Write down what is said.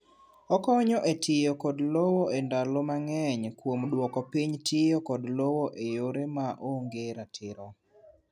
Okonyo e tiyo kod lowo e ndalo mang'eny kuom dwoko piny tiyo kod lowo e yore ma onge ratiro.